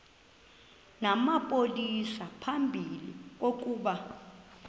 namapolisa phambi kokuba